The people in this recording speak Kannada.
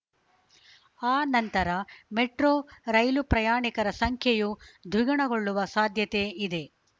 ಆ ನಂತರ ಮೆಟ್ರೋ ರೈಲು ಪ್ರಯಾಣಿಕರ ಸಂಖ್ಯೆಯೂ ದ್ವಿಗುಣಗೊಳ್ಳುವ ಸಾಧ್ಯತೆ ಇದೆ